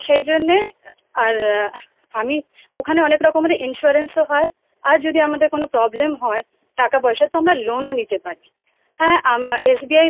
তো সেই জন্য আমি ওখানে অনেক রকমের insurance ও হয় আর যদি আমাদের কোনো problem হয় টাকা পয়সার তো আমরা loan নিতে পারি। হ্যাঁ SBI bank এ